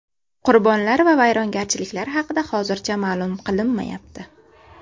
Qurbonlar va vayrongarchiliklar haqida hozircha ma’lum qilinmayapti.